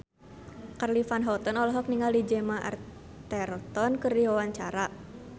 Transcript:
Charly Van Houten olohok ningali Gemma Arterton keur diwawancara